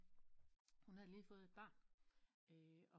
Hun havde lige fået et barn og